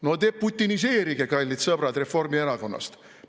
No deputiniseerige, kallid sõbrad Reformierakonnast!